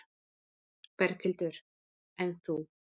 Berghildur: En þú?